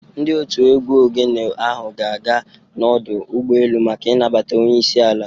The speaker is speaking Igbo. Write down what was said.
Ndị òtù egwú Ogene ahụ ga-aga n’ọdụ ụgbọelu maka ịnabata Onye isi ala.